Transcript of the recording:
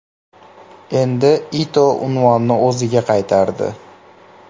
Endi Ito unvonni o‘ziga qaytardi.